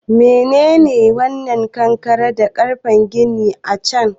Menene wannan kankare da ƙarfen gini a can?